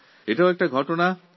এক স্বর্ণোজ্জ্বল দিন